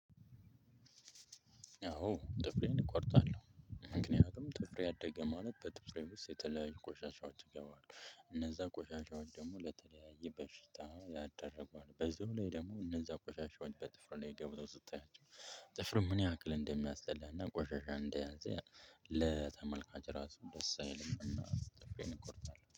አዎ ጥፍሬን እቆርጣለሁ ምክንያቱም ጥፍሬ አደገ ማለት በጥፍሬ ውስጥ የተለያዩ ቆሻሻዎች ይገባሉ እነዛ ቆሻሻዎች ደሞ ለተለያየ በሽታ ያደርገዋል። በዚሁ ላይ ደሞ እነዛ ቆሻሻዎች በጥፍሬ ላይ ገብተው ስታያቸው ጥፍሩ ምን ያክል እንደሚያስጠላና ቆሻሻ እንደያዘ ለተመልካች ራሱ ደስ አይልም። እና ጥፍሬን እቆርጣለሁ